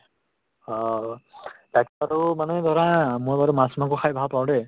হ আৰু মানে ধৰা মই বাৰু মাছ মাংস খায় ভাল পাওঁ দে